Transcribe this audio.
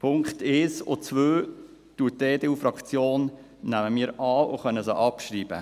Die Punkte 1 und 2 nimmt die EDU-Fraktion an, und wir können sie abschreiben.